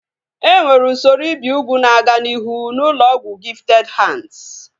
Enwere usoro ibi ugwu na-aga n'ihu n'ụlọ ọgwụ Gifted Hands